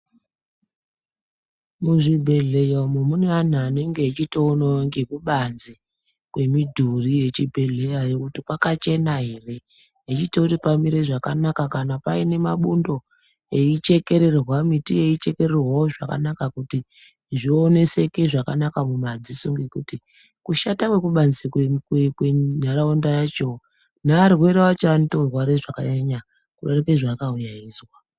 Muzvibhehleya umo mune vanhu vanotoonawo ngezvekubanze kwemudhuri wezvibhehleya kuti kwakachena here, echitoona kuti pamire zvakanaka kana paine mabundo eichekererwa, miti yeichekererwawo zvakanaka kuti zvioneseke zvakanaka mumadziso kuti kushata kwekubanze kwentharaunda yacho nearwere acho anotorwara zvakanyanya kudarike zvaakauya eizwa.